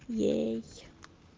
ей